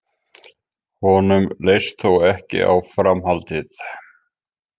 Honum leist þó ekki á framhaldið